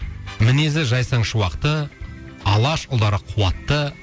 мінезі жайсаң шуақты алаш ұлдары қуатты